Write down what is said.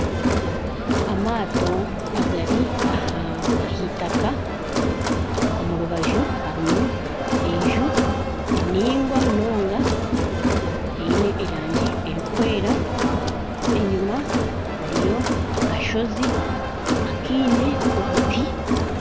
Amaato agari aha itaka, omu rubaju harimu enju eningwa munonga, eine erangi erikwera, enyima hariyo akashozi akaine obuti